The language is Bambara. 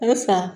A bɛ fila